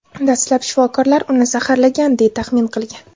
Dastlab shifokorlar uni zaharlangan, deya taxmin qilgan.